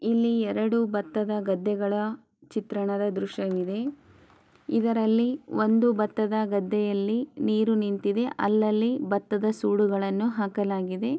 ಇಲ್ಲಿ ಎರಡು ಬತ್ತದ ಗದ್ದೆಗಳ ಚಿತ್ರಣದ ದೃಶ್ಯವಿದೆ ಇದರಲ್ಲಿ ಒಂದು ಬತ್ತದ ಗದ್ದೆಯಲ್ಲಿ ನೀರು ನಿಂತಿದೆ ಅಲ್ಲಲ್ಲಿ ಬತ್ತದ ಸುಡುಗಳನ್ನು ಹಾಕಲಾಗಿದೆ.